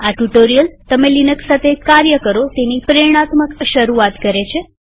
આ ટ્યુ્ટોરીઅલ તમે લિનક્સ સાથે કાર્ય કરો તેની પ્રેરણાત્મક શરૂઆત કરે છે